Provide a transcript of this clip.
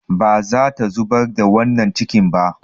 Ba za ta zubar da wannan cikin ba.